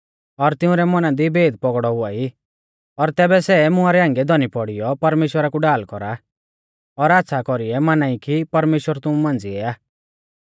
और तिंउरै मौना दी भेद पौगड़ौ हुआई और तैबै सेऊ मुंआ री हांगिऐ धौनी पौड़ीयौ परमेश्‍वरा कु ढाल कौरा और आच़्छ़ा कौरीऐ माना ई कि परमेश्‍वर तुमु मांझ़िऐ आ